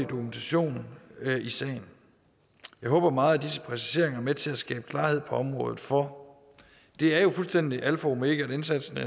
dokumentation i sagen jeg håber meget at disse præciseringer er med til at skabe klarhed på området for det er jo fuldstændig alfa og omega at indsatsen i